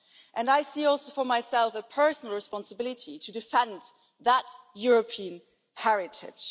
And I see also for myself a personal responsibility to defend that European heritage.